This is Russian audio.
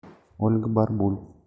ольга барбуль